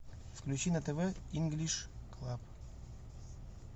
включи на тв инглиш клаб